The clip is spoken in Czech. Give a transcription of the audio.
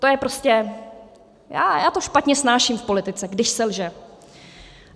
To je prostě - já to špatně snáším v politice, když se lže.